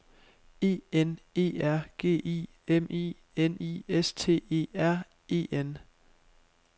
E N E R G I M I N I S T E R E N